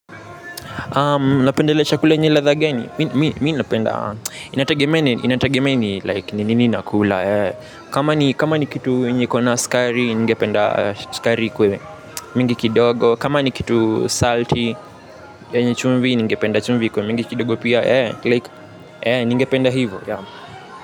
Napenda kula chakula yenye ladha gani, mimi napenda, inatagemea ni like nini nakula, kama ni kitu yenye ikona sukari ningependa sukari ikue, mingi kidogo, kama ni kitu salty yenye chumvi ningependa chumvi ikuwe, mingi kidogo pia, like, ningependa hivyo.